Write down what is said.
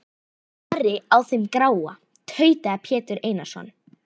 Ari á þeim gráa, tautaði Pétur Einarsson.